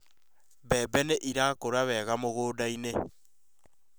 Mbembe nĩ ĩrakũra wega mũgũnda-ĩnĩ